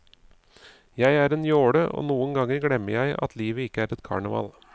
Jeg er en jåle, og noen ganger glemmer jeg at livet ikke er et karneval.